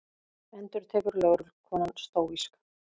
endurtekur lögreglukonan stóísk.